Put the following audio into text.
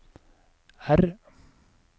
R